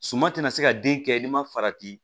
Suman tɛna se ka den kɛ n'i ma farati